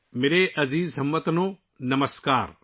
میرے پیارے ہم وطنو، نمسکار